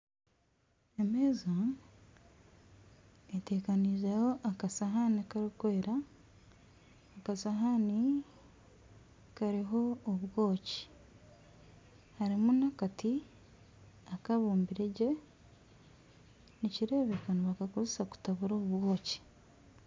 Emeeza etekaniizeho akasihaani karikwera akasahaani kariho obwoki hariho n'akati akabumbire gye nikireebeka nibakakozesa kutabura obwoki